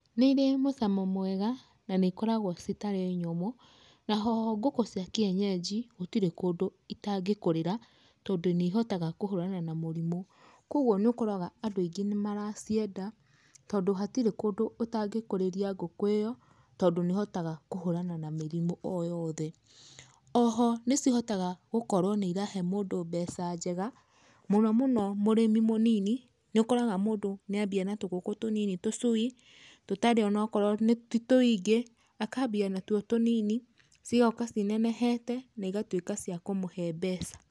Nĩ ire mũcamo mwega na nĩ ikoragwo citarĩ nyũmũ. Naho ngũkũ cia kienyeji gũtirĩ kũndũ itangĩkũrĩra, tondũ nĩ ihotaga kũhũrana na mũrimũ. Kogwo nĩ ũkoraga andũ aingĩ nĩ maracienda, tondũ hatirĩ kũndũ ũtangĩkũrĩria ngũkũ ĩyo, tondũ nĩ ĩhotaga kũhũrana na mĩrimũ o yothe. Oho nĩ cihotaga gũkorwo nĩ irahe mũndũ mbeca njega, mũno mũno mũrĩmi mũnini, nĩ ũkoraga mũndũ nĩ ambia na tũgũkũ tũnini tũcui, tũtarĩ onokorwo ti tũingĩ, akambia natuo tũnini, cigoka cinenehete na igatuĩka cia kũmũhe mbeca.